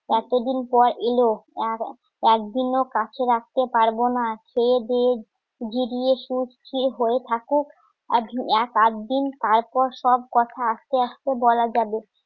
এতদিন পর এলো আর একদিনও কাছে রাখতে পারবো না খেয়ে দেয়ে সুখ স্থির হয়ে থাকুক আর এক আধদিন তারপর সব কথা আস্তে আস্তে বলা যাবে